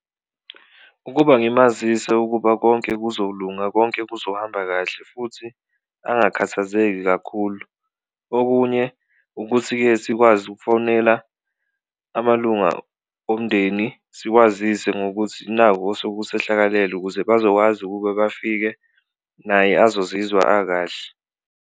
Ukuba ngimazise ukuba konke kuzolunga, konke kuzohamba kahle futhi angakhathazeki kakhulu, okunye ukuthi-ke sikwazi ukufowunela amalunga omndeni siwazise ngokuthi naku osukusehlakalele ukuze bazokwazi ukuba bafike naye azozizwa akahle.